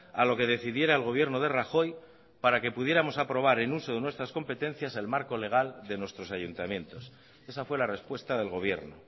a lo que decidiera el gobierno de rajoy para que pudiéramos aprobar en uso de nuestras competencias el marco legal de nuestros ayuntamientos esa fue la respuesta del gobierno